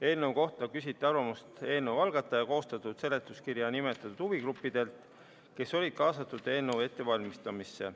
Eelnõu kohta küsiti arvamust eelnõu algataja koostatud seletuskirjas nimetatud huvigruppidelt, kes olid kaasatud eelnõu ettevalmistamisse.